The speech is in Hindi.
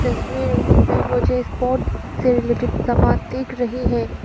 तस्वीर में मुझे स्पोर्ट से रिलेटेड सामान दिख रही है।